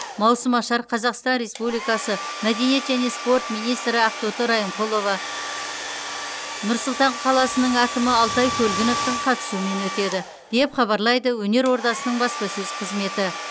маусымашар қазақстан республикасы мәдениет және спорт министрі ақтоты райымқұлова нұр сұлтан қаласының әкімі алтай көлгіновтің қатысуымен өтеді деп хабарлайды өнер ордасының баспасөз қызметі